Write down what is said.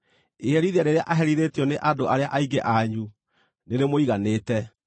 Iherithia rĩrĩa aherithĩtio nĩ andũ arĩa aingĩ anyu, nĩrĩmũiganĩte.